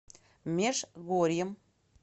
межгорьем